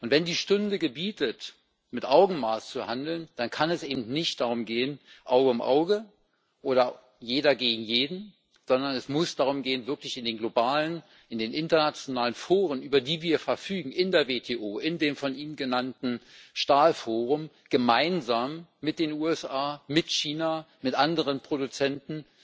Wenn die Stunde gebietet, mit Augenmaß zu handeln, dann kann es nicht um Auge um Auge oder jeder gegen jeden gehen, sondern es muss darum gehen, wirklich in den globalen, in den internationalen Foren, über die wir in der WTO, in dem von ihnen genannten Stahlforum verfügen, gemeinsam mit den USA, China und mit anderen Produzenten